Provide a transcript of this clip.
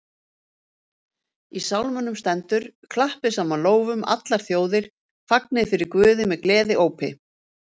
Í Sálmunum stendur: Klappið saman lófum, allar þjóðir, fagnið fyrir Guði með gleðiópi